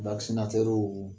vakisinatɛruw